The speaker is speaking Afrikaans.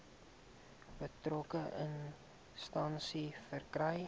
betrokke instansie verkry